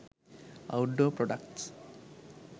outdoor products